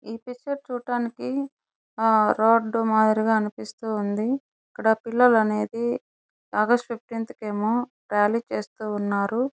ఈ పిక్చర్ చూడటానికి ఆ రోడ్ మాదిరిగా అనిపిస్తుంది ఇక్కడ పిల్లలు అనేది ఆగస్ట్ ఫిఫ్టీన్త కి ఏమో రేలి చేస్తూ ఉన్నారు.